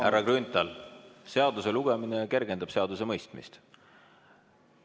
Härra Grünthal, seaduse lugemine kergendab seaduse mõistmist.